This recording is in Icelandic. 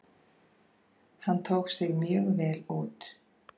Hann tók sig mjög vel út.